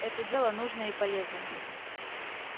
это дело нужное и полезное